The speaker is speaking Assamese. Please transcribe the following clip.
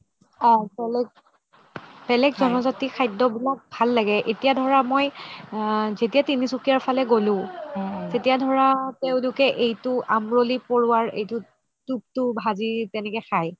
অহ জন জাতিৰ খাদ্য বিলাক ভাল লাগে এতিয়া ধৰা মই আ যেতিয়া তিনিচুকীয়াৰ ফালে গ্'লো তেতিয়া ধৰা তেওঁলোকে এইটো আমৰলি পৰোৱাৰ তুপটো ভাজি তেনেকে খাই